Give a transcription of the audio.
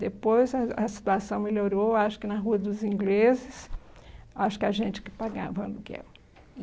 Depois a a situação melhorou, acho que na Rua dos Ingleses, acho que a gente que pagava aluguel.